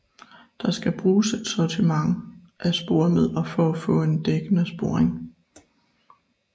Der skal bruges et sortiment af sporemidler for at få en dækkende sporing